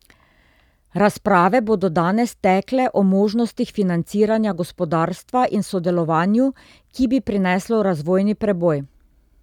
Razprave bodo danes tekle o možnostih financiranja gospodarstva in sodelovanju, ki bi prineslo razvojni preboj.